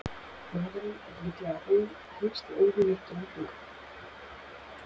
Maðurinn er líklega helsti óvinur geitunga!